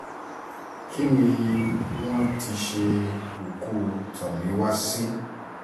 kí ni wọ́n ti ṣe òkú tomiwa sí